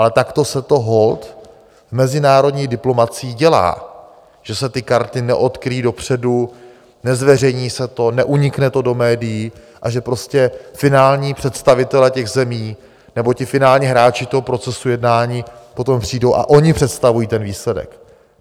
Ale takto se to holt v mezinárodní diplomacii dělá, že se ty karty neodkryjí dopředu, nezveřejní se to, neunikne to do médií a že prostě finální představitelé těch zemí, nebo ti finální hráči toho procesu jednání potom přijdou a oni představují ten výsledek.